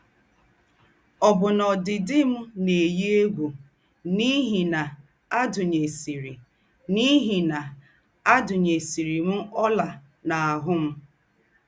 Ọ́bụ́nà ódìdì m̀ ná-èyí égwù n’íhí ná àdùnyèsìrì n’íhí ná àdùnyèsìrì m ọ́là n’àhụ́ m.